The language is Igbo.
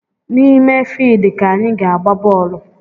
N’ime fidi ka anyị ga-agba bọọlụ